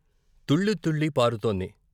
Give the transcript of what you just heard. తుళ్ళితుళ్ళి పారుతోంది.